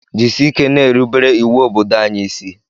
Jisike na-erubere iwu obodo anyi ịsị